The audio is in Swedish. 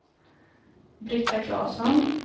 Britta Klasson